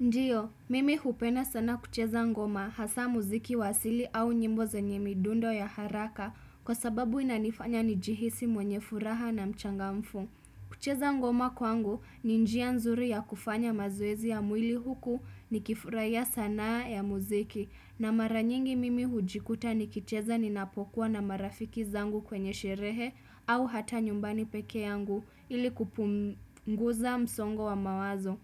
Ndiyo, mimi hupenda sana kucheza ngoma hasaa muziki wa asili au nyimbo zenye midundo ya haraka kwa sababu inanifanya njihisi mwenye furaha na mchangamfu. Kucheza ngoma kwangu ni njia nzuri ya kufanya mazoezi ya mwili huku nikifuraia sanaa ya muziki na mara nyingi mimi hujikuta nikicheza ninapokuwa na marafiki zangu kwenye sherehe au hata nyumbani peke yangu ili kupunguza msongo wa mawazo.